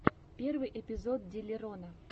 первый эпизод диллерона